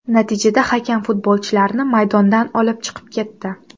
Natijada hakam futbolchilarni maydondan olib chiqib ketdi.